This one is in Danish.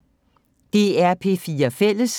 DR P4 Fælles